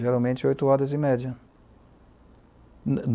Geralmente, oito horas, em média.